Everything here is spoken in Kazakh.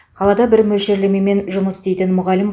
қалада бір мөлшерлемемен жұмыс істейтін мұғалім